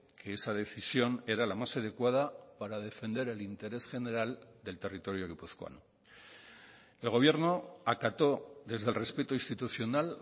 que esa decisión era la más adecuada para defender el interés general del territorio guipuzcoano el gobierno acato desde el respeto institucional